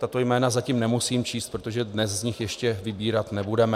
Tato jména zatím nemusím číst, protože dnes z nich ještě vybírat nebudeme.